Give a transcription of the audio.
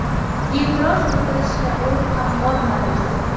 E’tiroz bildirishga o‘rin ham qolmadi.